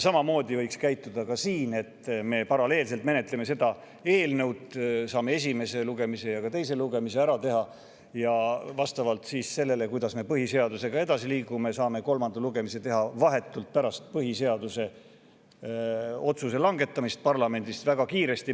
Samamoodi võiks käituda ka siin, et me paralleelselt menetleme seda eelnõu, saame esimese lugemise ja ka teise lugemise ära tehtud ning vastavalt sellele, kuidas me põhiseadusega edasi liigume, saame kolmanda lugemise teha vahetult pärast põhiseaduse kohta parlamendis otsuse langetamist, väga kiiresti.